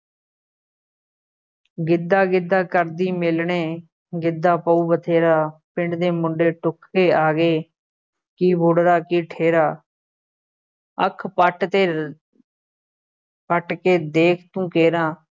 ਗਿੱਧਾ ਗਿੱਧਾ ਕਰਦੀ ਮੇਲਣੇ, ਗਿੱਧਾ ਪਊ ਬਥੇਰਾ, ਪਿੰਡ ਦੇ ਮੁੰਡੇ ਢੁੱਕ ਕੇ ਆ ਗਏ, ਕੀ ਬੁੱਢੜਾ ਕੀ ਠੇਰ੍ਹਾ, ਅੱਖ ਪੱਟ ਅਤੇ ਪੱਟ ਕੇ ਦੇਖ ਤੂੰ ਕੇਰਾਂ